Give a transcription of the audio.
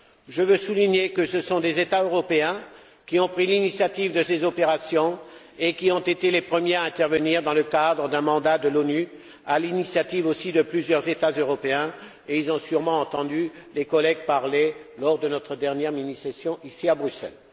Je veux souligner que ce sont des États européens qui ont pris l'initiative de ces opérations et qui ont été les premiers à intervenir dans le cadre d'un mandat de l'ONU, à l'initiative aussi de plusieurs États européens. Ils ont sûrement entendu les collègues parler lors de notre dernière mini session, ici à Bruxelles.